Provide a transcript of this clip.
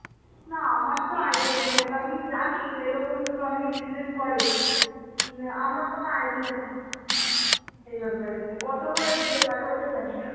না আমার তো idea নেই. দেখ আমি জানি যে এরকম ভাবে অনেকে business করে, উম আমার কোন idea নেই, এই ব্যাপারে যে কত করে দিতে পারে ওটা জানিনা.